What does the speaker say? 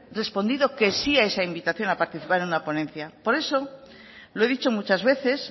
respondido que sí a esa invitación a participar en una ponencia por eso lo he dicho muchas veces